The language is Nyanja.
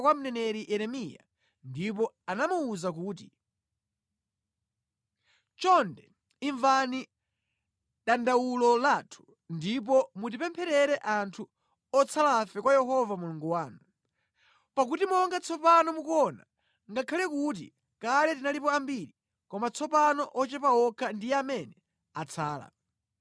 kwa mneneri Yeremiya ndipo anamuwuza kuti, “Chonde imvani dandawulo lathu ndipo mutipempherere anthu otsalafe kwa Yehova Mulungu wanu. Pakuti monga tsopano mukuona, ngakhale kuti kale tinalipo ambiri, koma tsopano ochepa okha ndiye amene atsala.